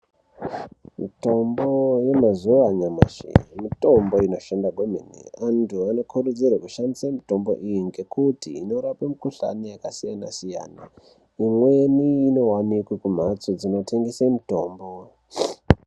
Mitombo yemazuva anyamashi mitombo inoshanda kwemene antu anokurudzirwa kushandisa mitombo iyi ngekuti inorapa mikohlani yakasiyana siyana imweni inowanike kumhatso dzinotengeswa mitombo.